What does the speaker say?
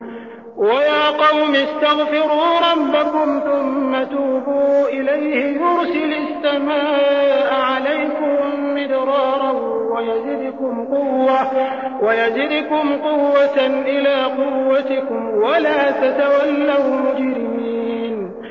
وَيَا قَوْمِ اسْتَغْفِرُوا رَبَّكُمْ ثُمَّ تُوبُوا إِلَيْهِ يُرْسِلِ السَّمَاءَ عَلَيْكُم مِّدْرَارًا وَيَزِدْكُمْ قُوَّةً إِلَىٰ قُوَّتِكُمْ وَلَا تَتَوَلَّوْا مُجْرِمِينَ